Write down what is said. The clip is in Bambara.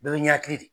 Bɛɛ bɛ ɲɛkili de ye